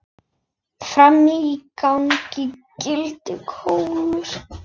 Frammi í gangi geltir Kolur.